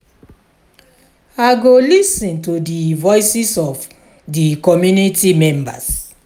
i go lis ten to di voices of di community members.